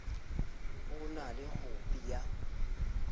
o na le khopi ya